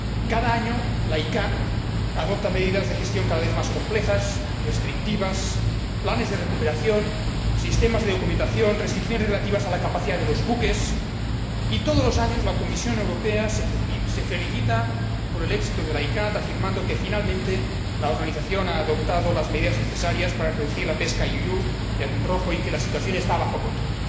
Cada año, la CICAA adopta medidas de gestión cada vez más complejas, restrictivas, planes de recuperación, sistemas de documentación, restricciones relativas a la capacidad de los buques, y todos los años la Comisión Europea se felicita por el éxito de la CICAA, afirmando que, finalmente, la organización ha adoptado las medidas necesarias para reducir la pesca you you de atún rojo y que la situación está bajo control.